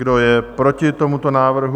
Kdo je proti tomuto návrhu?